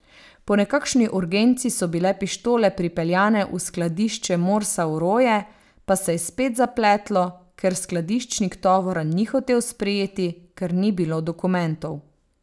Po nekakšni urgenci so bile pištole pripeljane v skladišče Morsa v Roje, pa se je spet zapletlo, ker skladiščnik tovora ni hotel sprejeti, ker ni bilo dokumentov.